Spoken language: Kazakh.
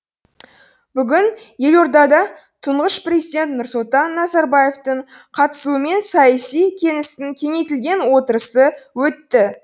бүгін елордада тұңғыш президент нұрсұлтан назарбаевтың қатысуымен саяси кеңістің кеңейтілген отырысы өтті